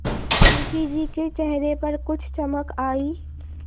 मुंशी जी के चेहरे पर कुछ चमक आई